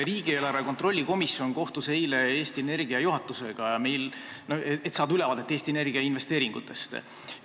Riigieelarve kontrolli erikomisjon kohtus eile Eesti Energia juhatusega, et saada ülevaadet Eesti Energia investeeringutest.